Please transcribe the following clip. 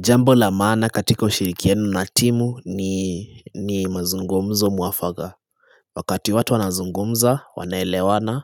Jambo la maana katika ushirikiano na timu ni mazungumzo muafaka. Wakati watu wanazungumza, wanaelewana,